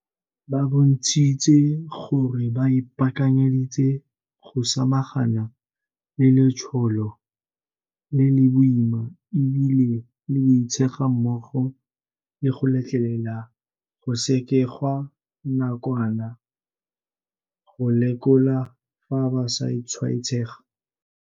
Ba bontshitse gore ba ipaakanyeditse go samagana le letsholo le le boima e bile le boitshega mmogo le go letlelela go sekegwa nakwana go lekola fa ba sa tshwaetsega.